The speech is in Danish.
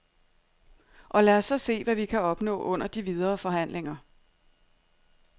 Og lad os så se, hvad vi kan opnå under de videre forhandlinger.